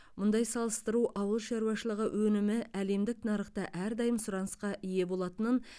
мұндай салыстыру ауыл шаруашылығы өнімі әлемдік нарықта әрдайым сұранысқа ие болатынын